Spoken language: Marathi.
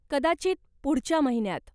कदाचित पुढच्या महिन्यात.